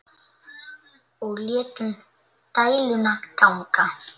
Og létum dæluna ganga.